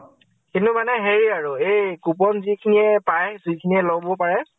কিন্তু মানে হেৰি আৰু । এই coupon যিখিনি য়ে পাই । যিখিনি য়ে লʼব পাৰে